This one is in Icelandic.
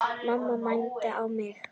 Mamma mændi á mig.